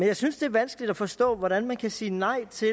jeg synes det er vanskeligt at forstå hvordan man kan sige nej til